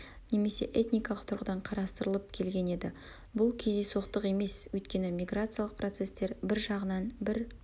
немесе этникалық тұрғыдан қарастырылып келген еді бұл кездейсоқтық емес өйткені миграциялық процестер бір жағынан бір